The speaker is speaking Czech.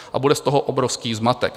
A bude z toho obrovský zmatek.